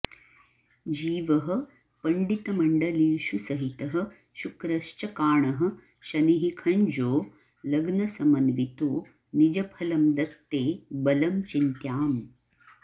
जीवः पण्डितमण्डलीषु सहितः शुक्रश्च काणः शनिः खञ्जो लग्नसमन्वितो निजफलं दत्ते बलं चिन्त्याम्